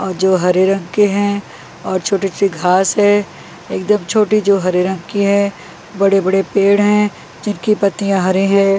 ओ जो हरे रंग के हैं और छोटी सी घास है एकदम छोटी जो हरे रंग की है बड़े बड़े पेड़ हैं जिनकी पत्तियाँ हरे हैं।